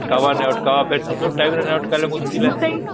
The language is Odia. ଅଟକାଵ ନାଇଁ ଅଟକାଵ ଫେର ତୋ ଟାଇମ ରେ ନା ଅଟକେଇଲେ ମୁସ୍କିଲ ହବ